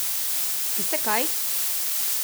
Veste, kaj?